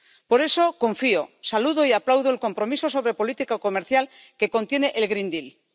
Por eso, confío, saludo y aplaudo el compromiso sobre política comercial que contiene el Pacto Verde Europeo.